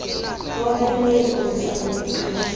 owomeleleyo ozisa ababhexeshi